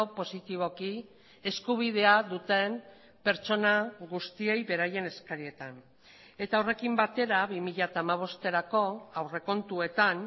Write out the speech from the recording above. positiboki eskubidea duten pertsona guztiei beraien eskarietan eta horrekin batera bi mila hamabosterako aurrekontuetan